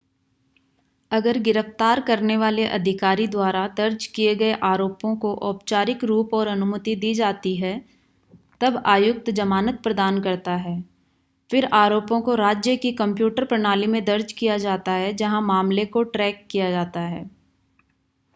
अगर गिरफ़्‍तार करने वाले अधिकारी द्वारा दर्ज किए गए आरोपों को औपचारिक रूप और अनुमति दी जाती है तब आयुक्त जमानत प्रदान करता है. फिर आरोपों को राज्य की कंप्यूटर प्रणाली में दर्ज किया जाता है जहाँ मामले को ट्रैक किया जाता है